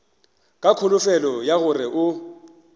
ka kholofelo ya gore o